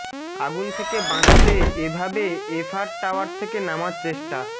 আগুন থেকে বাঁচতে এভাবে এফআর টাওয়ার থেকে নামার চেষ্টা